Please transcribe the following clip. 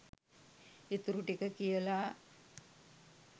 ඉතුරු ටික කියලා